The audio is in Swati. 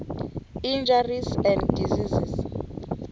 injuries and diseases